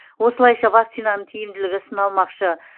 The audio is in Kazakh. осылайша вакцинаның тиімділігі сыналмақшы